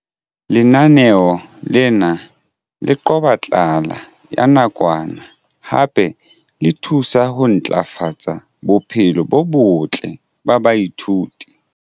Lenaneo lena le qoba tlala ya nakwana hape le thusa ho ntlafatsa bophelo bo botle ba baithuti.